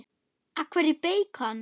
Hún er góð blanda.